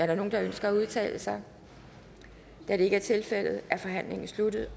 der nogen der ønsker at udtale sig da det ikke er tilfældet er forhandlingen sluttet